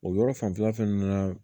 O yɔrɔ fanfɛla fɛnɛ na